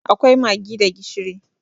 Akwai maggi da gishiri.